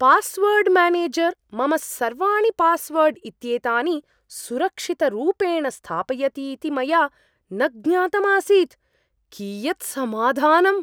Password manager मम सर्वाणि password इत्येतानि सुरक्षितरूपेण स्थापयति इति मया न ज्ञातम् आसीत्, कियत् समाधानम्!